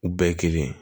U bɛɛ ye kelen